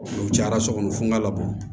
N'u cayara so kɔnɔ fun ka labɔ